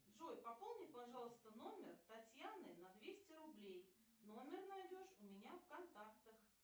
джой пополни пожалуйста номер татьяны на двести рублей номер найдешь у меня в контактах